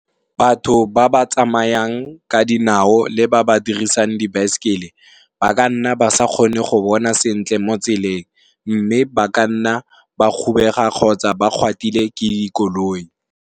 Batho ba ba tsamayang ka dinao le ba ba dirisang dibaesekele ba ka nna ba sa kgone go bona sentle mo tseleng mme, ba ka nna ba kgobega kgotsa ba gatwa ke dikoloi.